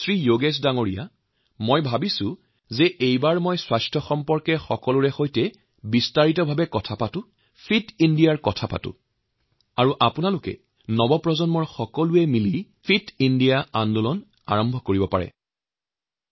যোগেশ জী মই ভাবিলো এইবাৰ স্বাস্থ্য বিষয়ত সকলোৰে সৈতে বিশদভাৱে কথা কম ফিট Indiaৰ কথা কম আৰু আপোনালোকৰ দৰে উদীয়ামান যুবকসকলে ফিট ইণ্ডিয়া কাৰ্যসূচীক আগুৱাই নিবলৈ সক্ষম হব